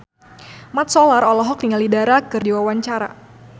Mat Solar olohok ningali Dara keur diwawancara